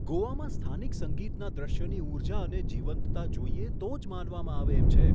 ગોવામાં સ્થાનિક સંગીતના દૃશ્યની ઊર્જા અને જીવંતતા જોઈએ તો જ માનવામાં આવે એમ છે.